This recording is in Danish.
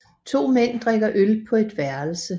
To mænd drikker øl på et værelse